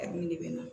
A dun de bɛ na